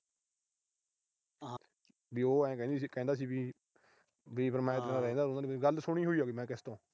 ਵੀ ਉਹ ਆਏ ਕਹਿੰਦੀ ਸੀ ਅਹ ਕਹਿੰਦਾ ਸੀ ਵੀ ਅਹ ਵੀ ਮੈਂ ਇਸ ਤਰ੍ਹਾਂ ਰਹਿੰਦਾ ਰੂਹੰਦਾ ਨੀ। ਗੱਲ ਸੁਣੀ ਹੋਈ ਆ ਵੀ ਮੈਂ ਕਿਸੇ ਤੋਂ।